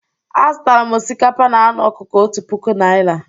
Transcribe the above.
Azụtara m osikapa na anụ ọkụkọ otu puku naira.